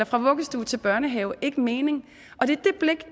fra vuggestue til børnehave ikke mening og det